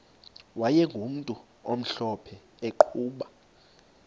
wayegumntu omhlophe eqhuba